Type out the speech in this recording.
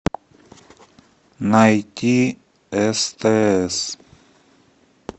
найти стс